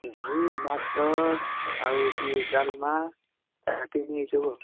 ଏଇ ଭାତ, ଆଉ ହଉଛି ଡାଲମା, ତରକାରୀ ଏଇ ସବୁ ଆଉ।